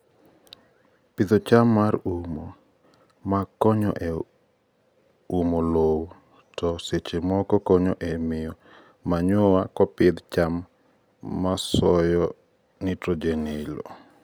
Pidho cham mar umo: ma konyo e uomo lowo to sechemoko konyo e mio manure kopidh cham masosyo nitrogen e loo.